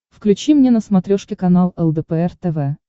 включи мне на смотрешке канал лдпр тв